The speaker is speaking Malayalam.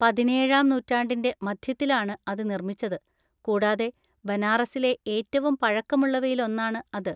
പതിനേഴാം നൂറ്റാണ്ടിൻ്റെ മധ്യത്തിലാണ് അത് നിർമിച്ചത്, കൂടാതെ ബനാറസിലെ ഏറ്റവും പഴക്കമുള്ളവയില്‍ ഒന്നാണ് അത്.